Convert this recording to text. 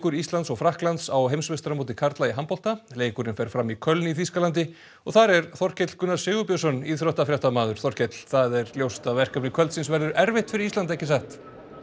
Íslands og Frakklands á heimsmeistaramóti karla í handbolta leikurinn fer fram í Köln í Þýskalandi og þar er Þorkell Gunnar Sigurbjörnsson íþróttafréttamaður Þorkell það er ljóst að verkefni kvöldsins verður erfitt fyrir Ísland ekki satt